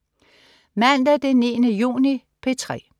Mandag den 9. juni - P3: